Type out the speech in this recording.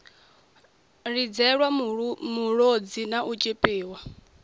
lidzelwa mulodzi na u tshipiwa